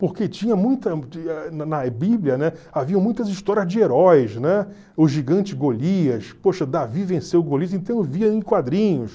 Porque tinha muita na Bíblia, né, havia muitas histórias de heróis, né, o gigante Golias, poxa, Davi venceu Golias, então eu via em quadrinhos.